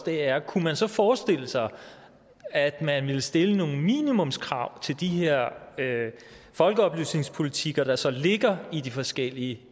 er kunne man så forestille sig at man ville stille nogle minimumskrav til de her folkeoplysningspolitikker der så ligger i de forskellige